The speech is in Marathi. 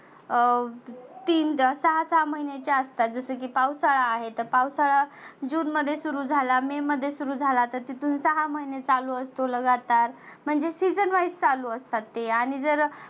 अं तीन सहा सहा महिन्याचे असतात. जसं की पावसाळा आहे तर पावसाळा जुन मध्ये सुरु झाला मे मध्ये सुरु झाला तर तिथुन सहा महिने चालु असतो लगातार. म्हणजे season wise चालु असतात. आणि जर